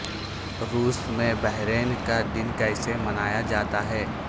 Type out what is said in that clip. روس میں بحرین کا دن کیسے منایا جاتا ہے